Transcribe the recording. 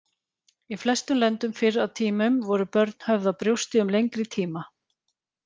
Í flestum löndum fyrr á tímum voru börn höfð á brjósti um lengri tíma.